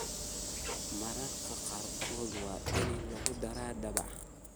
Mararka qaarkood waa in lagu daraa daabac.